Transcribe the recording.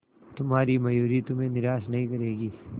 तुम्हारी मयूरी तुम्हें निराश नहीं करेगी